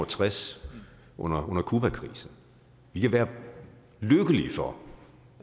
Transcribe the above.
tres under cubakrisen vi kan være lykkelige for